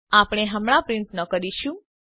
આપણે હમણાં પ્રિંટ ન કરીશું